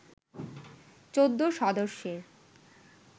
১৪ সদস্যের